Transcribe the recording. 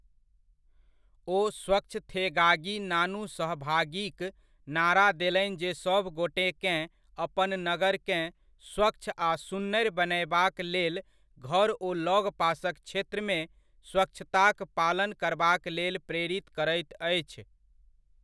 ओ 'स्वच्छथेगागी नानू सहभागी'क नारा देलनि जे सभ गोटेकेँ अपन नगरकेँ स्वच्छ आ सुन्नरि बनयबाक लेल घर ओ लगपासक क्षेत्रमे स्वच्छताक पालन करबाक लेल प्रेरित करैत अछि।